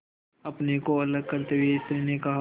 अपने को अलग करते हुए स्त्री ने कहा